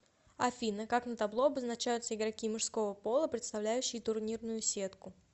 афина как на табло обозначаются игроки мужского пола представляющие турнирную сетку